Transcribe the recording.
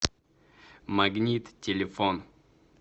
магнит телефон